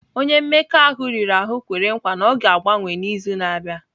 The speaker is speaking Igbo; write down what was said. Onye mmekọahụ riri ahụ kwere nkwa na ọ ga-agbanwe n'izu na-abịa.